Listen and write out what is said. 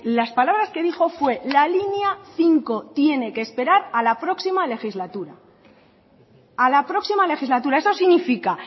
las palabras que dijo fue la línea cinco tiene que esperar a la próxima legislatura a la próxima legislatura eso significa